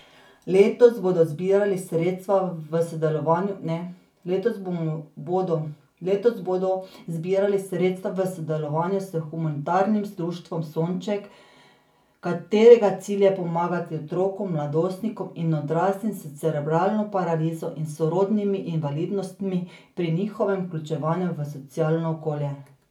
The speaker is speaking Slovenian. Letos bodo zbirali sredstva v sodelovanju s humanitarnim društvom Sonček, katerega cilj je pomagati otrokom, mladostnikom in odraslim s cerebralno paralizo in sorodnimi invalidnostmi pri njihovem vključevanju v socialno okolje.